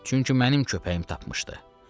Çünki mənim köpəyim tapmışdı.